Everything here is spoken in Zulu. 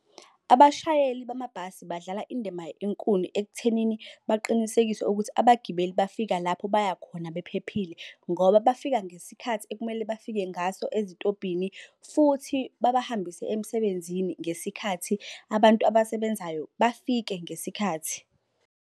Abashayeli bamabhasi badlala indima enkulu ekuthenini baqinisekise ukuthi abagibeli bafika lapho bayakhona bephephile ngoba bafika ngesikhathi ekumele bafike ngaso ezitobhini, futhi babahambise emsebenzini ngesikhathi. Abantu abasebenzayo bafike ngesikhathi.